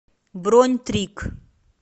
бронь трик